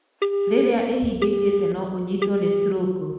Rĩrĩa ĩhingĩkĩte no ũnyitwo nĩ stroko.